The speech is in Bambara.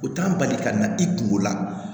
U t'an bali ka na i kungolo la